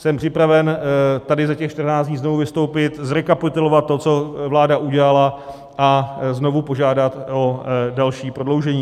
Jsem připraven tady za těch 14 dní znovu vystoupit, zrekapitulovat to, co vláda udělala, a znovu požádat o další prodloužení.